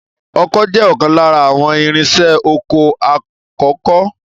Ọkọ́ jẹ́ ọ̀kan lára àwọn irinṣẹ́ oko àkọ́kọ́